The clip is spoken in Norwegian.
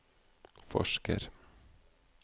forsker